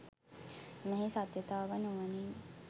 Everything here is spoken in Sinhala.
මෙහි සත්‍යතාව නුවණින්